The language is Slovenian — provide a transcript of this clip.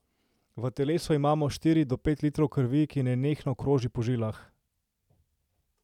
V telesu imamo štiri do pet litrov krvi, ki nenehno kroži po žilah.